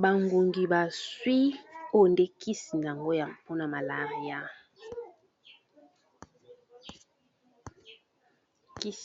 Ba ngungi bazwi o de kisi